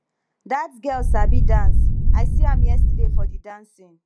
dat girl sabi dance i see am yesterday for the dancing